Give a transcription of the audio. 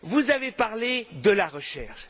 Vous avez parlé de la recherche.